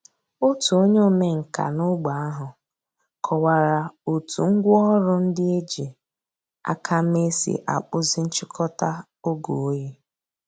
Ọ̀tù ònyè òmènkà n’ógbè àhụ̀ kọ̀wárà ó̩tù ngwá òrụ̀ ńdí è jì àkà mée sì àkpụ̀zì nchị̀kò̩tà ògè òyì.